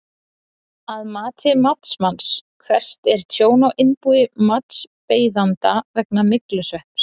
Að mati matsmanns, hvert er tjón á innbúi matsbeiðanda vegna myglusvepps?